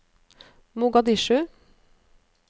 Mogadishu